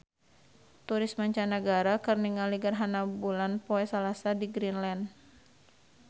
Turis mancanagara keur ningali gerhana bulan poe Salasa di Greenland